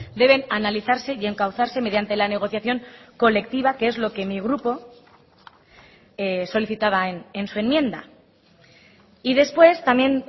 deben analizarse y encauzarse mediante la negociación colectiva que es lo que mi grupo solicitaba en su enmienda y después también